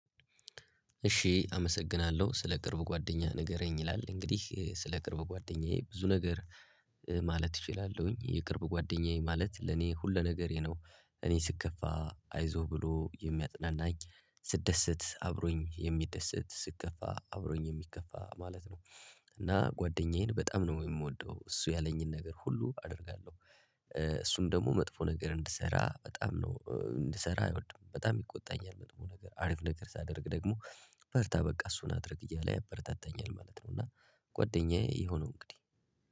እሺ አመሰግናለሁ ስለ ቅርብ ጓደኛ ንገረኝ ይላል እንግዲህ ስለ ቅርብ ጓደኛዬ ብዙ ነገር ማለት እችላለሁኝ የቅርብ ጓደኛዬ ማለት ለኔ ሁለ ነገር ነው። እኔ ስከፋ አይዞህ ብሎ የሚያጥናናኝ ስደሰት አብሮኝ የሚደሰት ስከፋ አብሮኝ የሚከፋ ማለት ነው። እና ጓደኛዬን በጣም ነው የምወደው እሱ ያለኝን ነገር ሁሉ አደርጋለሁ። እሱም ደግሞ መጥፎ ነገር እንድሰራ በጣም ነው እንድሰራ አይወድም በጣም ይቆጣኛል መጥፎ ነገር አሪፍ ነገር ሳደርግ ደግሞ በርታ በቃ እሱን አድርግ እያለ ያበረታታኛል ማለት ነው። እና ጓደኛዬ ይሄው ነው እንግዲህ።